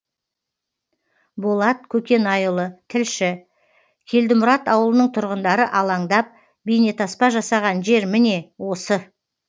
болат көкенайұлы тілші келдімұрат ауылының тұрғындары алаңдап бейнетаспа жасаған жер міне осы